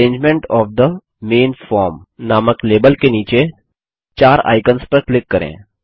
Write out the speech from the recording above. arrangement of the main form नामक label के नीचे चार आइकन्स पर क्लिक करें